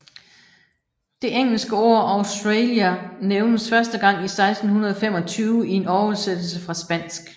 Det engelske ord Australia nævnes første gang i 1625 i en oversættelse fra spansk